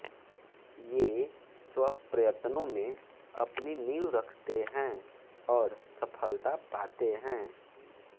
ये स्वप्रयत्नों में अपनी नीव रखते हैं और सफलता पाते हैं